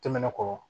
Tɛmɛnen kɔ